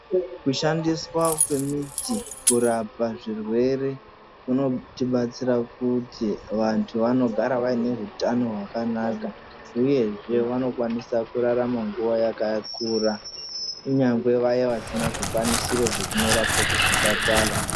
Kushandiswa kwemidzi kurapa zvirwere kunotibatsira kuti vantu vanogara vaine hutano hwakanaka uyezve vanokwanisa kurarama nguva yakakura kunyangwe vaya vasina zvikwanisiro zvekundorapwa kuzvipatara.